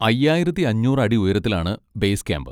അയ്യായിരത്തി അഞ്ഞൂറ് അടി ഉയരത്തിലാണ് ബേസ് ക്യാമ്പ്.